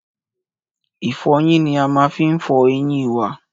Ìfọyín ni a má n fi fọ eyín wa